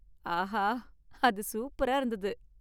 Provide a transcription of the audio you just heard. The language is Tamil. ஆஹா! அது சூப்பரா இருந்தது.